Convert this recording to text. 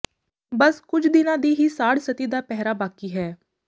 ਬੱਸ ਕੁਝ ਦਿਨਾਂ ਦੀ ਹੀ ਸਾੜ੍ਹਸਤੀ ਦਾ ਪਹਿਰਾ ਬਾਕੀ ਹੈ